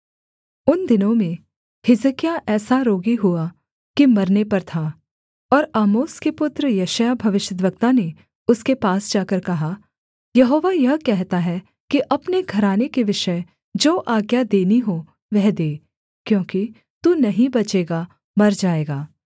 उन दिनों में हिजकिय्याह ऐसा रोगी हुआ कि मरने पर था और आमोस के पुत्र यशायाह भविष्यद्वक्ता ने उसके पास जाकर कहा यहोवा यह कहता है कि अपने घराने के विषय जो आज्ञा देनी हो वह दे क्योंकि तू नहीं बचेगा मर जाएगा